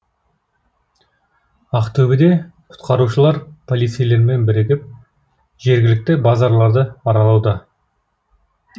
ақтөбеде құтқарушылар полицейлермен бірігіп жергілікті базарларды аралауда